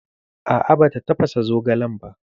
A'a bata tafasa zogalen ba